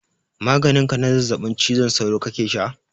Maganin ka na zazzabin cizon sauro kake sha?